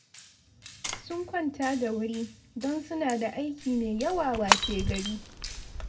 Sun kwanta da wuri, don suna da aiki mai yawa washegari